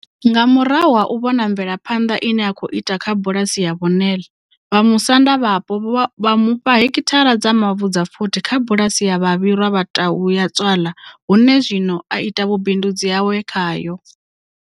Nga murahu ha u vhona mve laphanḓa ine a khou ita kha bu lasi ya Vho Nel, vhamusanda vhapo vha mufha hekithara dza mavu dza 40 kha bulasi ya Babirwa Ba Tau Ya Tswala hune zwino a ita vhubindudzi hawe khayo.